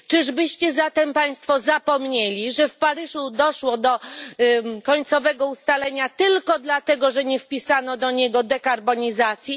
Czyżbyście zatem Państwo zapomnieli, że w Paryżu doszło do końcowego ustalenia tylko dlatego, że nie wpisano do niego dekarbonizacji?